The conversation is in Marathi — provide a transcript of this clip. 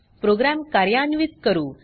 प्रोग्राम कार्यान्वित करू